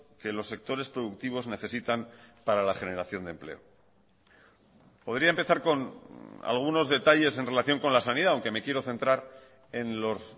que los sectores productivos necesitan para la generación de empleo podría empezar con algunos detalles en relación con la sanidad aunque me quiero centrar en los